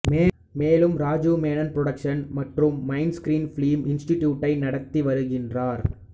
மேலும் ராஜீவ் மேனன் புரொடக்ஷன்ஸ் மற்றும் மைண்ட்ஸ்கிரீன் ஃபிலிம் இன்ஸ்டிடியூட்டை நடத்தி வருகிறார்